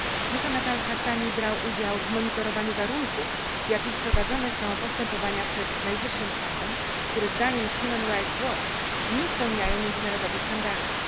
Muhannad Al Hassani brał udział w monitorowaniu warunków, w jakich prowadzone są postępowania przed najwyższym sądem, które zdaniem nie spełniają międzynarodowych standardów.